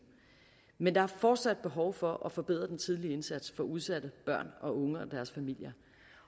men der er fortsat behov for at forbedre den tidlige indsats for udsatte børn og unge og deres familier